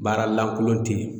Baara lankolon tɛ yen